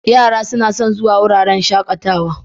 Yara suna son zuwa wuraren shakatawa.